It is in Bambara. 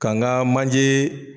K'a n ga manjee